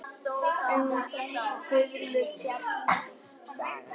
Um þá fiðlu fjallar sagan.